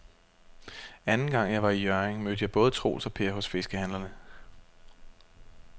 Anden gang jeg var i Hjørring, mødte jeg både Troels og Per hos fiskehandlerne.